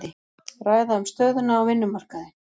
Ræða um stöðuna á vinnumarkaði